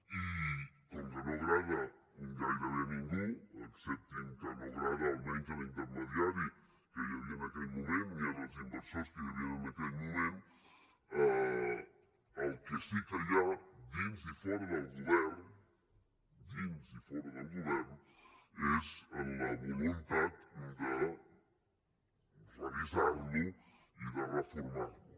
i com que no agrada gairebé a ningú acceptin que no agrada almenys a l’intermediari que hi havia en aquell moment ni als inversors que hi havia en aquell moment el que sí que hi ha dins i fora del govern és la voluntat de revisar lo i de reformar lo